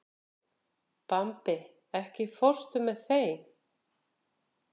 Bambi, ekki fórstu með þeim?